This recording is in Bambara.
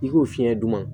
I k'o fiɲɛ d'u ma